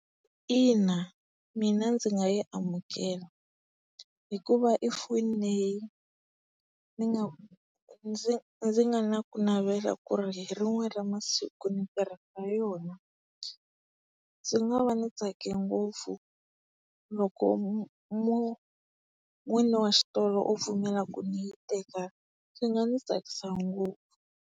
Ina, mina ndzi nga yi amukela hikuva i foni leyi ni nga ndzi ndzi nga na ku navela ku ri hi rin'we ra masiku ni tirhisa yona. Ndzi nga va ni tsake ngopfu loko n'wini wa xitolo o pfumela ku ni yi teka. Swi nga ni tsakisa ngopfu.